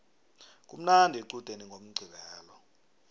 kumnandi equdeni ngomqqibelo